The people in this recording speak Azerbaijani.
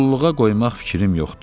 qulluğa qoymaq fikrim yoxdur.